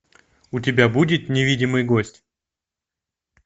у тебя будет невидимый гость